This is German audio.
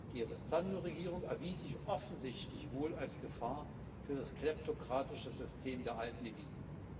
Die Sandu Regierung erwies sich offensichtlich als Gefahr für das kleptokratische System der alten Eliten.